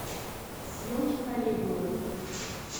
съемки калигулы